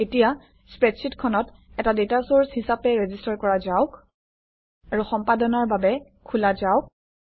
এতিয়া স্প্ৰেডশ্বিটখনক এটা ডাটা চৰ্চ হিচাপে ৰেজিষ্টাৰ কৰা যাওক আৰু সম্পাদনাৰ বাবে খোলা যাওক